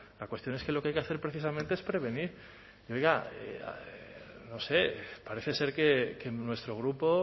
la cuestión es que lo que hay que hacer precisamente es prevenir y oiga no sé parece ser que nuestro grupo